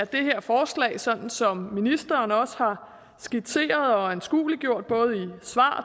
det her forslag sådan som ministeren også har skitseret og anskueliggjort det både i svar